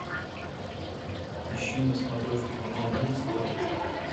ищи на смотрешке канал муз тв